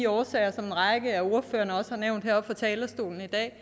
årsager som en række af ordførerne også har nævnt heroppe fra talerstolen i dag